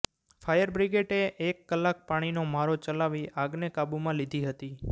fire બ્રિગેડે એક કલાક પાણીનો મારો ચલાવી આગને કાબુમા લીધી હતી